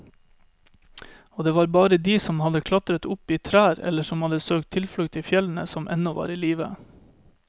Og det var bare de som hadde klatret opp i trær eller som hadde søkt tilflukt i fjellene, som ennå var i live.